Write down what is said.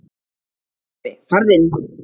Pabbi farðu inn!